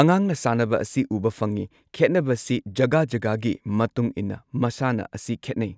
ꯑꯉꯥꯡꯅ ꯁꯥꯅꯕ ꯑꯁꯤ ꯎꯕ ꯐꯪꯉꯤ ꯈꯦꯠꯅꯕꯁꯤ ꯖꯒꯥ ꯖꯒꯥꯒꯤ ꯃꯇꯨꯡ ꯏꯟꯅ ꯃꯁꯥꯅ ꯑꯁꯤ ꯈꯦꯠꯅꯩ꯫